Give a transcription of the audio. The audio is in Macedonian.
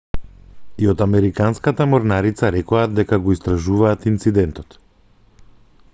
и од американската морнарица рекоа дека го истражуваат инцидентот